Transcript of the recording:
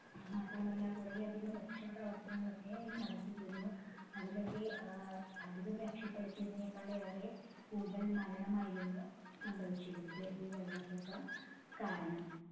മാത്രമല്ല കുറെ അധികം രക്ഷാപ്രവർത്തനങ്ങൾ ഒക്കെ നടത്തിയിരുന്നു അതിലൊക്കെ ഏർ അധികം രക്ഷപെടുത്തിയതിനേക്കാൾ ഏറെ കൂടുതൽ മരണമായിരുന്നു സംഭവിച്ചിരുന്നത് ഈ വെള്ളപൊക്കം കാരണം